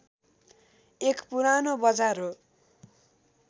एक पुरानो बजार हो